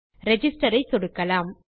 register ஐ சொடுக்கலாம்